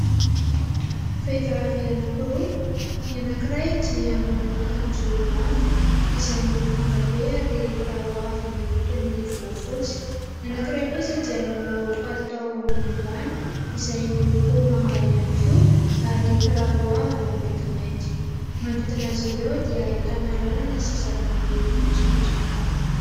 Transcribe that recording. Vehivavy anankiroa, ny anankiray dia manao akanjo lava izay miloko manga be ary kiraro avo miloko toy ny volafotsy. Ny anankiray kosa dia manao palitao ambony ambany izay miloko manga ihany koa ary kiraro avo maintimainty. Manodidina azy ireo dia ahitana lalana sy zava-maniry maitsomaitso maro.